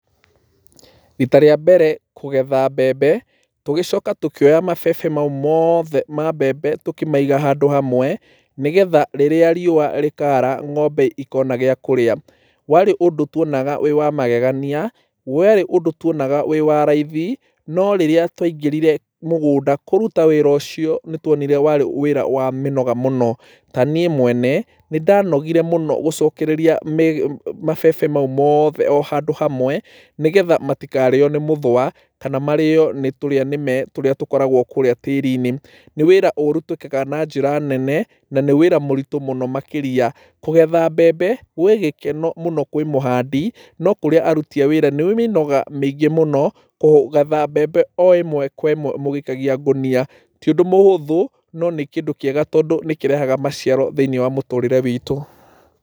Rita rĩa mbere kũgetha mbembe tũgĩcoka tũkĩoya mabebe mau mothe ma mbembe tũkĩmaiga handũ hamwe, nĩgetha rĩrĩa riũa rĩkaara ng'ombe ikona gĩa kũrĩa. Warĩ ũndũ tuonaga wĩ wa magegania, warĩ ũndũ tuonaga wĩ wa raithi, no rĩrĩa twaingĩrire mũgũnda kũruta wĩra ũcio nĩ twonire warĩ wĩra wa mĩnoga mũno. Ta niĩ mwene nĩ ndanogire mũno gũcokereria mabebe mau mothe o handũ hamwe, nĩgetha matikarĩo nĩ mũthũa, kana marĩo nĩ tũrĩa nĩme tũrĩa tũkoragwo kũrĩa tĩĩri-inĩ. Nĩ wĩra ũru twĩkaga na njĩra nene, na nĩ wĩra mũritũ mũno makĩria. Kũgetha mbembe gwĩ gĩkeno mũno kwĩ mũhandi, no kũrĩ aruti a wĩra nĩ wĩra wĩ mĩnoga mĩingĩ kũgetha mbembe o ĩmwe kwa ĩmwe mũgĩikagia ngũnia. Ti ũndũ mũhũthũ no nĩ kĩndũ kĩega, tondũ nĩ kĩrehaga maciaro thĩiniĩ wa mũtũrĩre witũ.